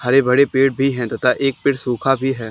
हरे भरे पेड़ भी हैं तथा एक पेड़ सूखा भी है।